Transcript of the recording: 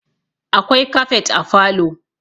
akwai kafet a falo